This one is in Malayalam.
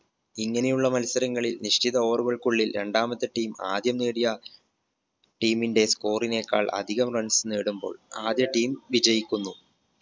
ഇങ്ങനെയുള്ള മത്സരങ്ങളിൽ നിശ്ചിത over കൾക്കുള്ളിൽ രണ്ടാമത്തെ team ആദ്യം നേടിയ team ന്റെ score നേക്കാൾ അധികം runs നേടുമ്പോൾ ആദ്യ team വിജയിക്കുന്നു